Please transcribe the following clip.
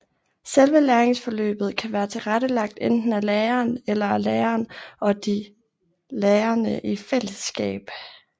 Selve læringsforløbet kan være tilrettelagt enten af læreren eller af læreren og de lærende i fællesskab